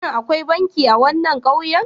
Shin akwai banki a wannan ƙauyen?